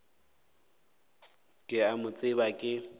ke a mo tseba ke